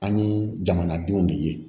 An ye jamanadenw de ye